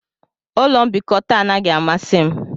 Ụlọ mbikota anaghị amasị m